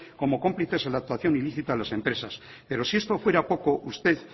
como cómplices en la actuación ilícita a las empresas pero si esto fuera poco usted